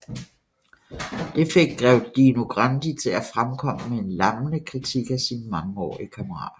Det fik grev Dino Grandi til at fremkomme med en lammende kritik af sin mangeårige kammerat